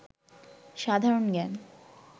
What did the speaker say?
সাধারণ জ্ঞান